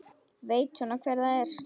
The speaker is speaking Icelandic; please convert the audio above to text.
Veit svona hver það er.